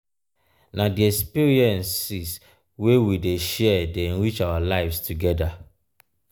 na di experiences wey we dey share dey enrich our lives together.